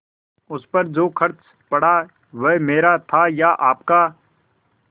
उस पर जो खर्च पड़ा वह मेरा था या आपका